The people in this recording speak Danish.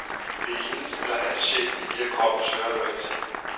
Det er hendes eller hans sjæl, vi via kroppen søger at nå ind til.